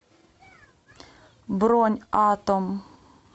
бронь атом